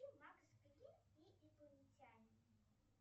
макс грин и инопланетяне